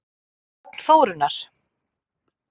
Að sögn Þórunnar